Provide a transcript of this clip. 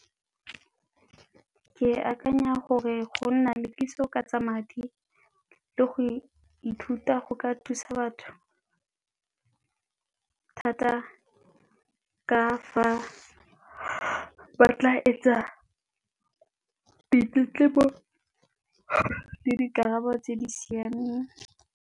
Ke akanya gore go nna le kitso ka tsa madi le go ithuta go ka thusa batho thata ka fa ba tla etsa dikarabo tse di siameng.